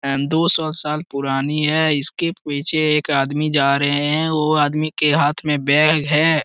आ दो सौ साल पुरानी है इसके पीछे एक आदमी जा रहे हैं वो आदमी के हाथ में बैग है।